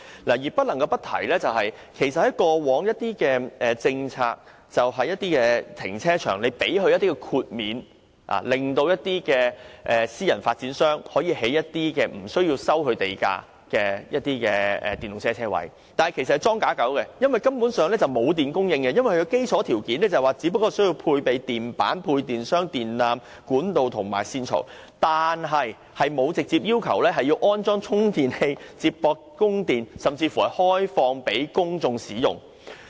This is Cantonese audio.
我不得不提的是，在以往的政策下，政府會提供豁免，讓私人發展商無須繳付地價在停車場內設置電動車泊車位，但有關泊車位只是"裝假狗"，根本沒有電力供應，因為基礎條件只包括須配備配電板、配電箱、電纜、管道和線槽，政府並沒有規定充電器必須接駁電源，亦沒有規定須開放予公眾使用。